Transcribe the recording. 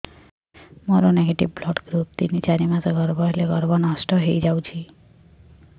ମୋର negative blood group ତିନ ଚାରି ମାସ ଗର୍ଭ ହେଲେ ଗର୍ଭ ନଷ୍ଟ ହେଇଯାଉଛି